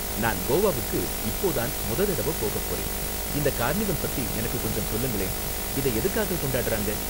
நான் கோவாவுக்கு இப்போ தான் மொத தடவ போகப் போறேன், இந்த கார்னிவல் பத்தி எனக்கு கொஞ்சம் சொல்லுங்களேன், இதை எதுக்காக கொண்டாடுறாங்க?